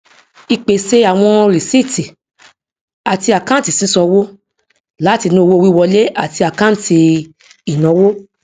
ípèsè àwọn rìsíìtì àti àkáǹtì sísan owó láti inú owó wíwọlé àti àkáǹtì ìnáwó